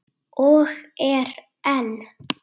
Og er enn.